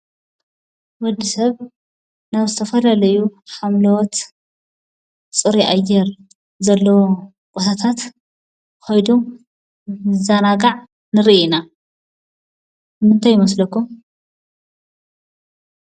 ወድሰብ ናብ ዝተፈላለዩ ሓምለዎት ፅሩይ ኣየር ዘለዎም ቦታታት ከይዱ ይዘናጋዕ ንርኢ ኢና፡፡ ንምንታይ ይመስለኩም?